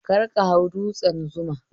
Kar ka hau dutsen Zuma